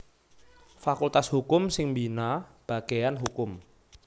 Fakultas Hukum sing mbina bagéyan Hukum